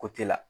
Ko te la